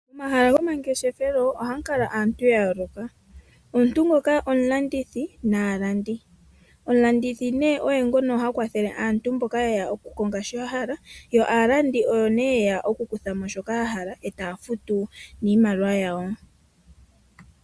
Momahala gomangeshefelo ohamu kala aantu ya yooloka omuntu ngoka omulandithi naalandi. Omulandithi nee oye ngono ha kwathele aantu mboka ye ya okukonga sho ya hala yo aalandi oyo nee ha ye ya okukutha mo shoka ya hala eta ya futu niimaliwa yawo.